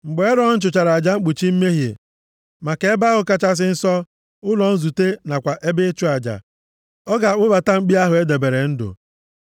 “Mgbe Erọn chụchara aja mkpuchi mmehie maka Ebe ahụ Kachasị Nsọ, ụlọ nzute, nakwa ebe ịchụ aja, ọ ga-akpụbata mkpi ahụ e debere ndụ.